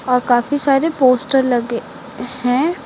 और काफी सारे पोस्टर लगे है।